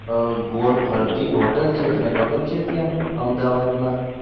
ગોળ ફરતી હોટલ છે તને ખબર છે? ત્યાં અમદાવાદ મા.